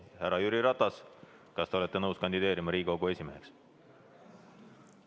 Härra Jüri Ratas, kas te olete nõus kandideerima Riigikogu esimeheks?